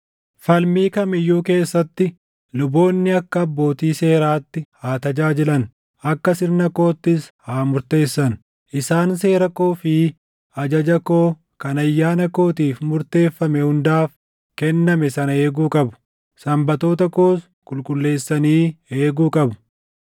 “ ‘Falmii kam iyyuu keessatti luboonni akka abbootii seeraatti haa tajaajilan; akka sirna koottis haa murteessan. Isaan seera koo fi ajaja koo kan ayyaana kootiif murteeffame hundaaf kenname sana eeguu qabu; Sanbatoota koos qulqulleessanii eeguu qabu.